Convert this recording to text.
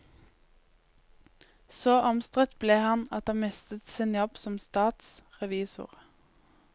Så omstridt ble han at han mistet sin jobb som statsrevisor.